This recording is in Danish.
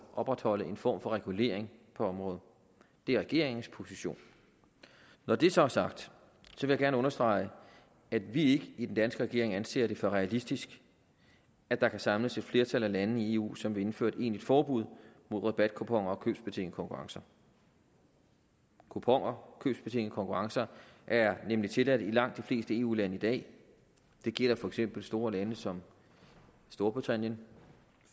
opretholde en form for regulering på området det er regeringens position når det så er sagt vil jeg gerne understrege at vi ikke i den danske regering anser det for realistisk at der kan samles et flertal af lande i eu som vil indføre et egentligt forbud mod rabatkuponer og købsbetingede konkurrencer kuponer og købsbetingede konkurrencer er nemlig tilladt i langt de fleste eu lande i dag det gælder for eksempel store lande som storbritannien